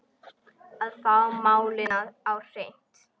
Að fá málin á hreint